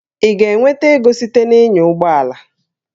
Ị ga-enweta ego site na ịnya ụgbọ ala?